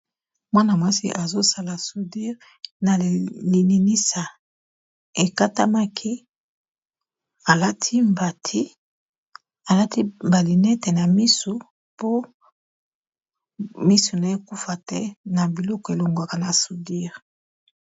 Mwana-mwasi azosala soudire na lininisa ekatanlmaki alati mbati alati ba lunette na misu po misu naye ekufa te na biloko elongwaka na soudire.